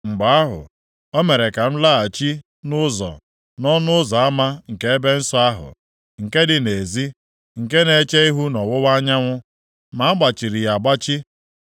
Mgbe ahụ, o mere ka m laghachi nʼụzọ, nʼọnụ ụzọ ama nke ebe nsọ ahụ, nke dị nʼezi, nke na-eche ihu nʼọwụwa anyanwụ, ma a gbachiri ya agbachi.